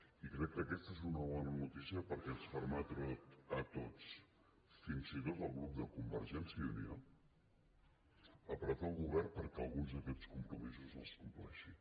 i crec que aquesta és una bona notícia perquè ens permetrà a tots fins i tot al grup de convergència i unió apretar el govern perquè alguns d’aquests compromisos els compleixi